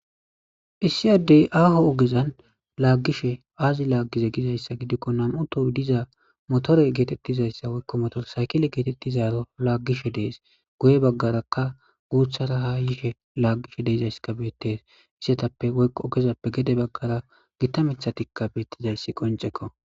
issiy addey aaho ogezan laaggishe aazi laaggize gizayssa gidikko nan7u toh diza motore geetettizayssa woykko motor saykile geetettizaaro laaggishe dees goye baggarakka guuthara hayishe laaggishe deizayssa beettes isetappe qo ogezappe gede baggara gitta mithatikka beettizayssi qoncekko